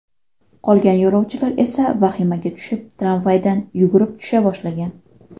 Qolgan yo‘lovchilar esa vahimaga tushib, tramvaydan yugurib tusha boshlagan.